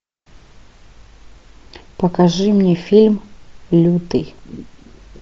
покажи мне фильм лютый